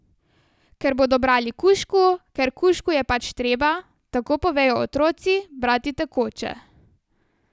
Ker bodo brali kužku, ker kužku je pač treba, tako povejo otroci, brati tekoče.